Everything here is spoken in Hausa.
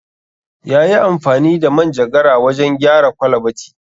Ya yi amfani da manjagara wajen gyara kwalabati